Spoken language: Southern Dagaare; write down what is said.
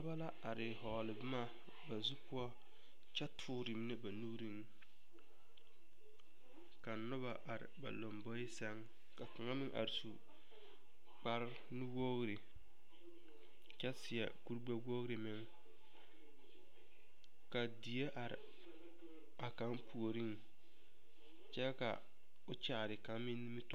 Noba la are a vɔgle boma ba zu poɔ kyɛ tɔɔre mine ba nuuriŋ ka noba are ba lomboe sɛŋ ka kaŋa meŋ are su kpare nuwogri kyɛ seɛ kuri gbɛwogri meŋ ka die are a kaŋ puoriŋ kyɛ ka o kyaare kaŋa meŋ nimitɔɔre.